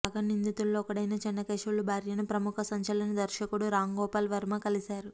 కాగా నిందితుల్లో ఒకడైన చెన్నకేశవులు భార్యను ప్రముఖ సంచలన దర్శకుడు రామ్గోపాల్ వర్మ కలిశారు